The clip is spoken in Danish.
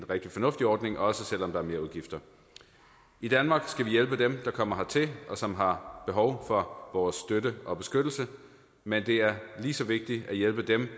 rigtig fornuftig ordning også selv om der er merudgifter i danmark skal vi hjælpe dem der kommer hertil og som har behov for vores støtte og beskyttelse men det er lige så vigtigt at hjælpe dem